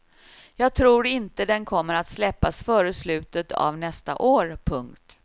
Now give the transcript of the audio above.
Jag tror inte den kommer att släppas före slutet av nästa år. punkt